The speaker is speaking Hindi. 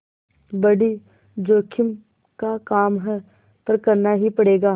बड़ी जोखिम का काम है पर करना ही पड़ेगा